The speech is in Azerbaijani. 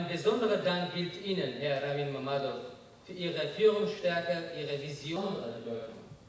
Xüsusi təşəkkürüm sizədir, cənab Ravin Məmmədov, liderlik gücünüzə, vizyonunuza və rəhbərliyinizə görə.